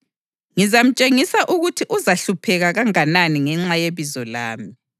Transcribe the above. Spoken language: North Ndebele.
Ngizamtshengisa ukuthi uzahlupheka kanganani ngenxa yebizo lami.”